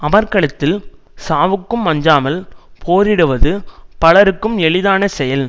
அமர்க்களத்தில் சாவுக்கும் அஞ்சாமல் போரிடுவது பலருக்கும் எளிதான செயல்